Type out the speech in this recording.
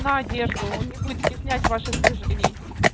на одежду он не будет стеснять ваших движений